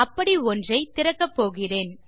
அப்படி ஒன்றை திறக்கப்போகிறோம்